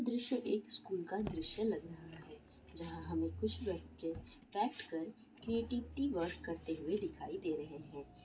दृश्य एक स्कूल का एक दृश्य लग रहा है जहाँ हमें कुछ बच्चे क्राफ्ट कर क्रिएटिविटी वर्क करते हुए दिखाई दे रहे हैं।